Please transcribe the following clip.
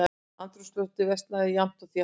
Andrúmsloftið versnaði jafnt og þétt.